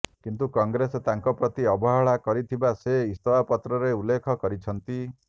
କିନ୍ତୁ କଂଗ୍ରେସ ତାଙ୍କ ପ୍ରତି ଅବହେଳା କରିଥିବା ସେ ଇସ୍ତଫାପତ୍ରରେ ଉଲ୍ଲେଖ କରିଛନ୍ତି